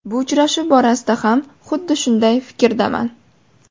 Bu uchrashuv borasida ham xuddi shunday fikrdaman.